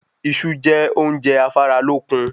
Iṣú jẹ óúnje afára lókun